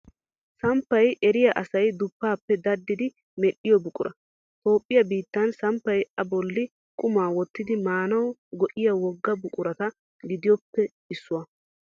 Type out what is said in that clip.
Samppay eriya asay duppaappe daddidi medhdhiyo buqura. Toophphiyaa biittan samppay A bolli qumaa wottidi maanawu go'iya wogaa buquratu giddoppe issuwa .